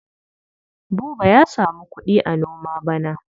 Buba ya samu kuɗi a noma bana.